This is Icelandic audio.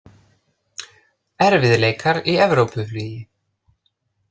Erfiðleikar í Evrópuflugi